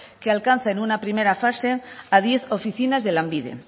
que alcanza en una primera fase a diez oficinas de lanbide